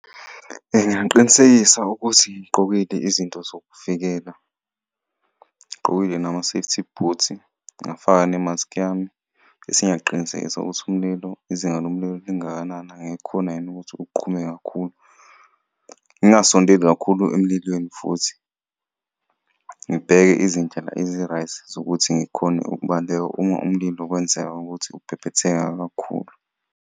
Ngingaqinisekisa ukuthi ngiy'gqokile izinto zokuvikela, ngigqokile nama-safety boots, ngafaka ne-mask yami. Bese ngiyaqinisekisa ukuthi umlilo, izinga lomlilo lingakanani, angeke kukhone yini ukuthi kuqhume kakhulu. Ngingasondeli kakhulu emlilweni futhi, ngibheke izindlela ezi-right zokuthi ngikhone ukubaleka uma umlilo kwenzeka ukuthi uphephetheka kakhulu.